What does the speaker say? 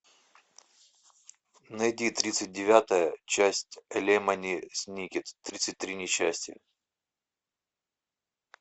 найди тридцать девятая часть лемони сникет тридцать три несчастья